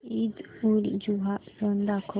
ईदउलजुहा सण दाखव